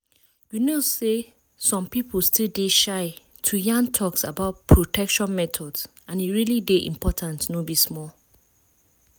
you know say some people still dey shy to yan talks about protection methods and e really dey important no be small.